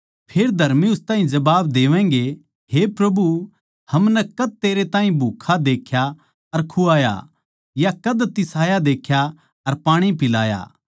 फेर धर्मी उस ताहीं जबाब देवैगें हे प्रभु हमनै कद तेरै ताहीं भूक्खा देख्या अर खुवाया या कद तिसाया देख्या अर पाणी पिलाया